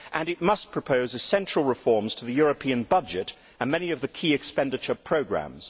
It must propose central reforms to the European budget and many of the key expenditure programmes.